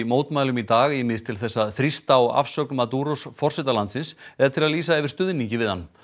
mótmælum í dag ýmist til þess að þrýsta á afsögn forseta landsins eða til að lýsa yfir stuðningi við hann